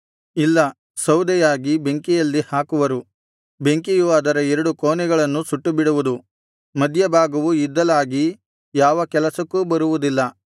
ಇಲ್ಲ ಸೌದೆಯಾಗಿ ಬೆಂಕಿಯಲ್ಲಿ ಹಾಕುವರು ಬೆಂಕಿಯು ಅದರ ಎರಡು ಕೊನೆಗಳನ್ನು ಸುಟ್ಟುಬಿಡುವುದು ಮಧ್ಯಭಾಗವು ಇದ್ದಲಾಗಿ ಯಾವ ಕೆಲಸಕ್ಕೂ ಬರುವುದಿಲ್ಲ